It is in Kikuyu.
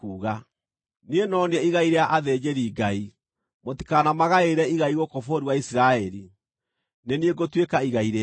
“ ‘Niĩ no niĩ igai rĩa athĩnjĩri-Ngai. Mũtikanamagaĩre igai gũkũ bũrũri wa Isiraeli; Nĩ niĩ ngũtuĩka igai rĩao.